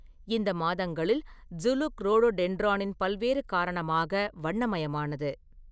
இந்த மாதங்களில் ஸுனுக் ரோடோடென்ட்ரானின் பல்வேறு காரணமாக வண்ணமயமானது.